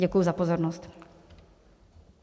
Děkuji za pozornost.